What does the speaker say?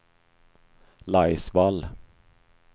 Laisvall